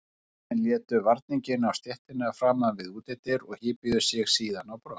Sendlarnir létu varninginn á stéttina framan við útidyrnar og hypjuðu sig síðan á brott.